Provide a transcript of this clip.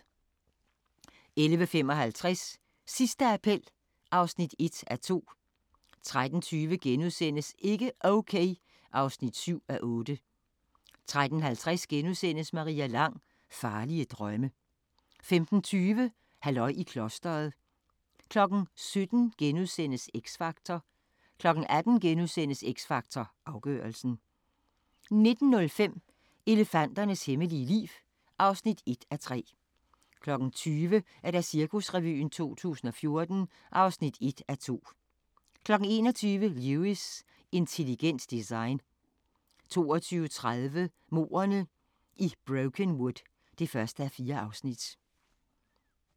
11:55: Sidste appel (1:2) 13:20: Ikke Okay (7:8)* 13:50: Maria Lang: Farlige drømme * 15:20: Halløj i klostret 17:00: X Factor * 18:00: X Factor Afgørelsen * 19:05: Elefanternes hemmelige liv (1:3) 20:00: Cirkusrevyen 2014 (1:2) 21:00: Lewis: Intelligent design 22:30: Mordene i Brokenwood (1:4)